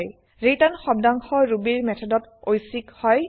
return শব্দাংশ ৰুবিৰ মেথডত ঐচ্চিক হয়